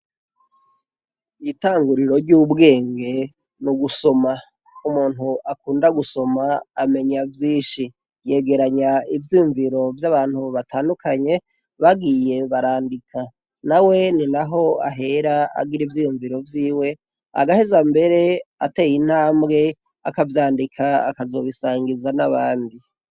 Itanguriro ry'ubwenge, mu gusoma, iyo umuntu akunda gusoma amenya vyinshi. yegeranye ivyiyumviro vy'abantu batandukanye bagiye barandika. Nawene naho ahera agira ivyiyumviro vyiwe agaheza mbere ateye intambwe akavyandika akazobisangiza abandi.